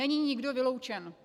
Není nikdo vyloučen.